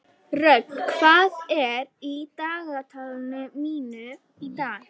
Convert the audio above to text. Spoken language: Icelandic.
Rögn, hvað er í dagatalinu mínu í dag?